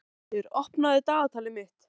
Sólbjartur, opnaðu dagatalið mitt.